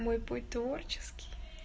мой путь творческий